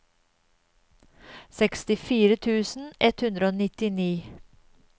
sekstifire tusen ett hundre og nittini